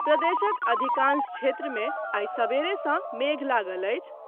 प्रदेशक अधिकांश क्षेत्र मे आइ सबेरे सँ मेघ लागल अछि।